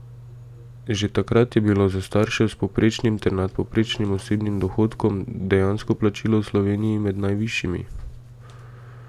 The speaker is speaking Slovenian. Že takrat je bilo za starše s povprečnim ter nadpovprečnim osebnim dohodkom dejansko plačilo v Sloveniji med najvišjimi.